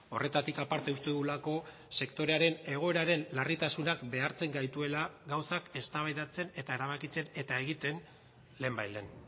horretatik aparte uste dugulako sektorearen egoeraren larritasunak behartzen gaituela gauzak eztabaidatzen eta erabakitzen eta egiten lehenbailehen